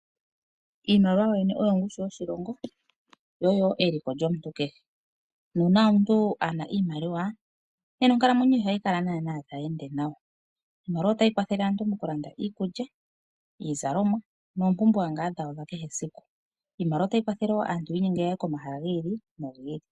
Iimaliwa yoyene oyo ongushu yoshilongo , yo oyo eliko lyomuntu kehe. Nuuna omuntu ngele keena iimaliwa, nena onkalamwenyo ye ihayi kala tayi ende nawa . Iimaliwa otayi kwathele aantu mokulanda iikulya , iizalomwa noompumbwe dhawo dhakehe esiku . Iimaliwa otayi kwatha aantu yiinyenge taye komahala giili nogiili.